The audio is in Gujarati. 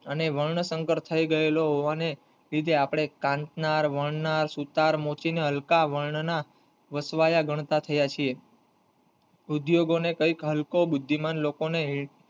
અને વર્ણ સંકલ્પ થઇ ગયેલો હોવાને લીધે આપડે કાથનાર વણનાર સુથાર મોચીને હલકા વર્ણન વસવાયાં ગણતા થયા છીએ ઉદ્યયોગો ને કય હલકો બુદ્ધિમાન લોકોને